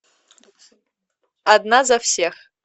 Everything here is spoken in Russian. одна за всех